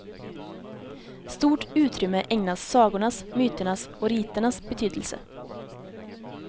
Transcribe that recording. Stort utrymme ägnas sagornas, myternas och riternas betydelse.